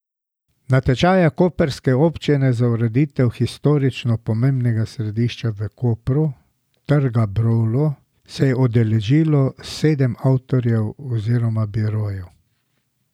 Natečaja koprske občine za ureditev historično pomembnega središča v Kopru, trga Brolo, se je udeležilo sedem avtorjev oziroma birojev.